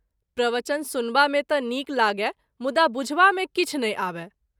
प्रवचन सुनबा मे त’ नीक लागय मुदा बुझबा मे किछु नहिं आबय।